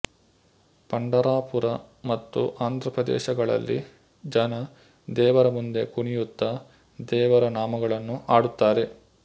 ಪಂಡರಾಪುರ ಮತ್ತು ಆಂಧ್ರ ಪ್ರದೇಶಗಳಲ್ಲಿ ಜನ ದೇವರ ಮುಂದೆ ಕುಣಿಯುತ್ತ ದೇವರ ನಾಮಗಳನ್ನು ಹಾಡುತ್ತಾರೆ